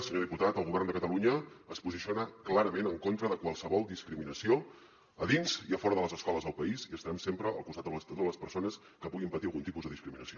senyor diputat el govern de catalunya es posiciona clarament en contra de qualsevol discriminació a dins i a fora de les escoles del país i estarem sempre al costat de totes les persones que puguin patir algun tipus de discriminació